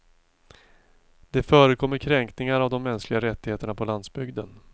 Det förekommer kränkningar av de mänskliga rättigheterna på landsbygden.